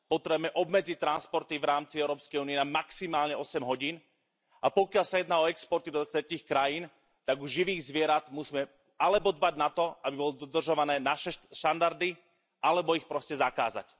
Potrebujeme obmedziť transporty v rámci Európskej únie na maximálne 8 hodín A pokiaľ sa jedná o exporty do tretích krajín, tak u živých zvierat musíme alebo dbať na to, aby boli dodržiavané naše štandardy, alebo ich proste zakázať.